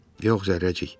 Yox, Zərrəcik.